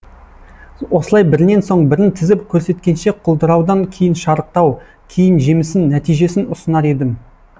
осылай бірінен соң бірін тізіп көрсеткенше құлдыраудан кейін шарықтау кейін жемісін нәтижесін ұсынар едім